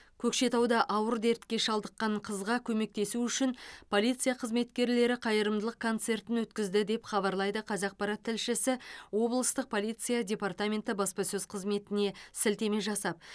көкшетауда ауыр дертке шалдыққан қызға көмектесу үшін полиция қызметкерлері қайырымдылық концертін өткізді деп хабарлайды қазақпарат тілшісі облыстық полиция депртаменті баспасөз қызметіне сілтеме жасап